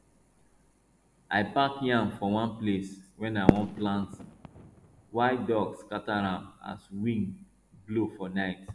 i pack yam for one place wey i wan plant wild dogs scatter am as wind blow for night